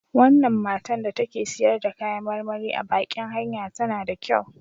Wannan matan da take siyar da kayan marmari a baƙin hanya tana da kyau.